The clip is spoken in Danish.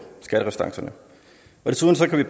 skatterestancerne desuden kan vi